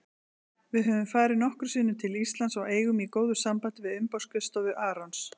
Við höfum farið nokkrum sinnum til Íslands og eigum í góðu sambandi við umboðsskrifstofu Arons.